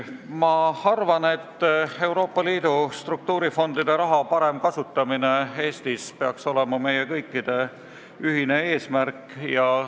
Ma arvan, et Euroopa Liidu struktuurifondide raha parem kasutamine Eestis peaks olema meie kõikide ühine eesmärk.